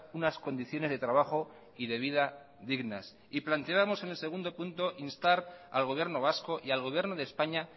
unas condiciones de trabajo y de vida dignas y planteábamos en el segundo punto instar al gobierno vasco y al gobierno de españa